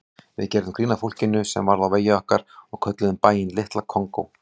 Við gerðum grín að fólkinu sem varð á vegi okkar og kölluðum bæinn Litla Kongó.